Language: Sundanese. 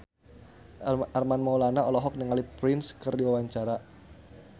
Armand Maulana olohok ningali Prince keur diwawancara